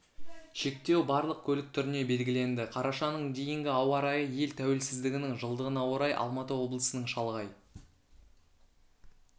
шектеу барлық көлік түріне белгіленді қарашаның дейінгі ауа райы ел тәуелсіздігінің жылдығына орай алматы облысының шалғай